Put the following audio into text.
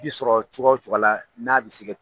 bi sɔrɔ cogoya o cogoya la n'a bɛ se